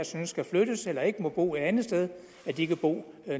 synes skal flyttes eller ikke må bo et andet sted så de kan bo